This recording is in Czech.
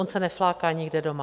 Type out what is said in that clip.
On se nefláká nikde doma.